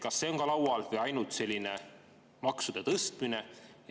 Kas see on ka laual või on ainult maksude tõstmine?